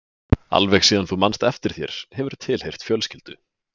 Alveg síðan þú manst eftir þér hefurðu tilheyrt fjölskyldu.